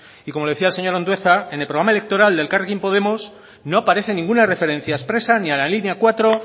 y como decía el señor andueza en el programa electoral de elkarrekin podemos no aparece ninguna referencia expresa ni a la línea cuatro